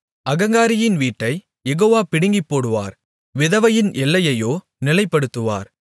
அகங்காரியின் வீட்டைக் யெகோவா பிடுங்கிப்போடுவார் விதவையின் எல்லையையோ நிலைப்படுத்துவார்